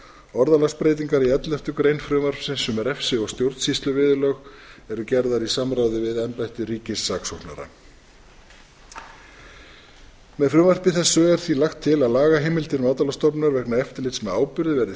orðalagsbreytingar í elleftu grein frumvarpsins um refsi og stjórnsýsluviðurlög eru gerðar í samráði við embætti ríkissaksóknara með frumvarpi þessu er því lagt til að lagaheimildir matvælastofnunar vegna eftirlits með áburði verði